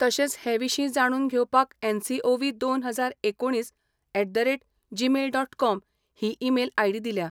तशेंच हे विशीं जाणून घेवपाक एनसीओव्ही दोनहजार एकुणीस at the rate Gmail dot com ही ईमेल आयडी दिल्या.